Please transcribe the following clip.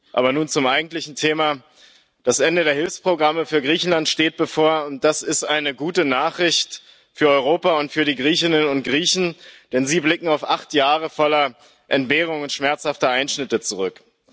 Aber nun zum eigentlichen Thema Das Ende der Hilfsprogramme für Griechenland steht bevor, und das ist eine gute Nachricht für Europa und für die Griechinnen und Griechen, denn sie blicken auf acht Jahre voller Entbehrungen und schmerzhafter Einschnitte zurück.